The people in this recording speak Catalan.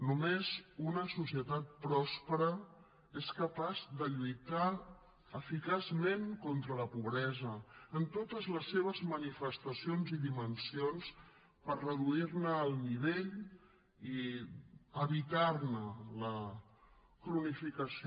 només una societat pròspera és capaç de lluitar eficaçment contra la pobresa en totes les seves manifestacions i dimensions per reduir ne el nivell i evitar ne la cronificació